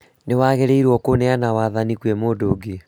Nĩwagĩrĩirwo kũneana wathani kwĩ mũndũ ũngi